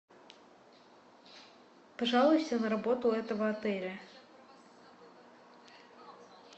пожалуйся на работу этого отеля